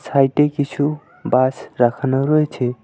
সাইটে কিছু বাঁশ রাখানো রয়েছে।